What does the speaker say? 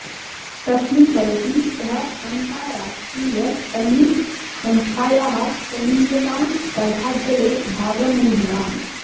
तस्मिन् वयसि सः अन्ताराष्ट्रीय ट्न्निस् संस्यायाः कनीयसां स्पर्धाद्वये भागमूढवान्